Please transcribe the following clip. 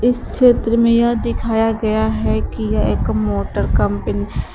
इस चित्र में यह दिखाया गया है कि यह एक मोटर कंपनी --